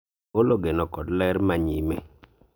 agolo geno kod ler ma nyime